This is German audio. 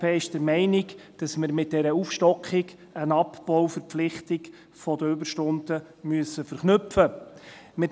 Die glp ist der Meinung, dass wir mit dieser Aufstockung eine Abbauverpflichtung der Überstunden verknüpfen müssen.